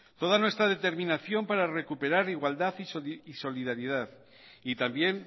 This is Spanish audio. toda nuestra determinación para recuperar igualdad y solidaridad y también